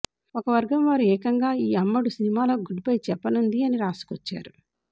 ఒక వర్గం వారు ఏకంగా ఈ అమ్మడు సినిమాలకు గుడ్ బై చెప్పనుంది అని రాసుకొచ్చారు